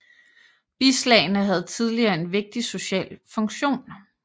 Bislagene havde tidligere en vigtig social funktion